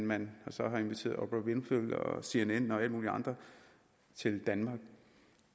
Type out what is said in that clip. man så har inviteret oprah winfrey cnn og alle mulige andre til danmark